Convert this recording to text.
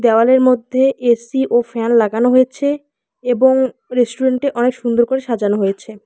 দেওয়ালের মধ্যে এ_সি ও ফ্যান লাগানো হয়েছে এবং রেস্টুরেন্টটি অনেক সুন্দর করে সাজানো হয়েছে।